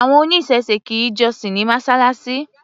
Àwọn oníṣẹ̀se kì í jọ́sìn ní Mọ́ṣáláṣí.